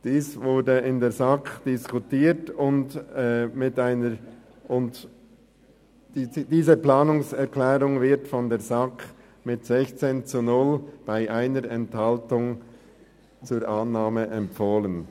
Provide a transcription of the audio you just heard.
» Diese Planungserklärung wurde in der SAK diskutiert und mit 16 zu 0 Stimmen bei 1 Enthaltung zur Annahme empfohlen.